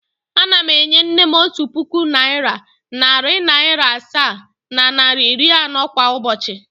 Ana m enye nne m otu puku naịra, narị naịra asaa na naịra iri anọ kwa ụbochị.